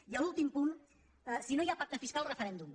i l’últim punt si no hi ha pacte fiscal referèndum